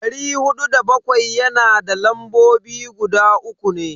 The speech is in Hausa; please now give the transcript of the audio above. Dari hudu da bakwai yana da lambobi guda uku ne.